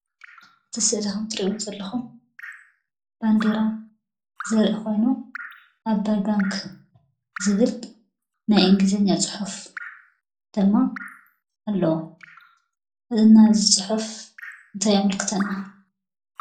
እዚ ስእሊ ኸምትሪእዎ ዘለኹም ባንዴራ ዘርኢ ኾይኑ ዓባይ ባንክ ዝብል ናይ እንግሊዝኛ ፅሑፍ ድማ ኣለዎ፡፡ እና እዚ ፅሑፍ እንታይ የመልክተና?